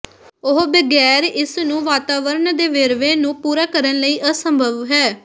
ਉਹ ਬਗੈਰ ਇਸ ਨੂੰ ਵਾਤਾਵਰਣ ਦੇ ਵੇਰਵੇ ਨੂੰ ਪੂਰਾ ਕਰਨ ਲਈ ਅਸੰਭਵ ਹੈ